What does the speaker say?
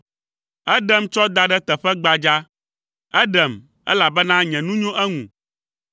Eɖem tsɔ da ɖe teƒe gbadzaa; eɖem, elabena nye nu nyo eŋu.